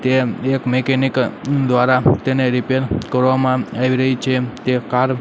તેમ એક મેકેનિક દ્વારા તેને રીપેર કરવામાં આવી રહી છે તે કાર --